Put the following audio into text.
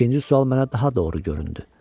İkinci sual mənə daha doğru göründü.